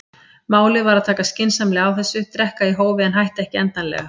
Málið var að taka skynsamlega á þessu, drekka í hófi en hætta ekki endanlega.